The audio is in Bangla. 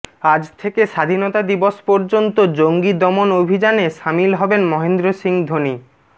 আজ থেকে স্বাধীনতা দিবস পর্যন্ত জঙ্গি দমন অভিযানে সামিল হবেন মহেন্দ্র সিংহ ধোনি